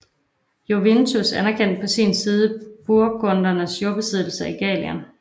Jovinus anerkendte på sin side burgundernes jordbesiddelser i Gallien